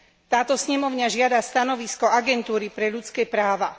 Táto snemovňa žiada stanovisko Agentúry pre ľudské práva.